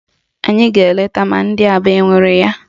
Anyị ga-eleta ma ndị Aba enwere ya